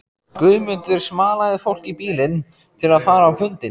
Guðmundur smalaði fólki í bílinn til að fara á fundinn.